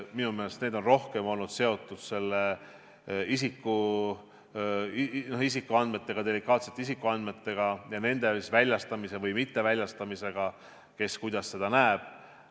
Minu meelest olid need rohkem seotud delikaatsete isikuandmetega ja nende väljastamise või mitteväljastamisega, kes kuidas seda näeb.